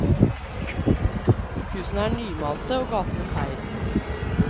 Husene er nymalte og gatene feid.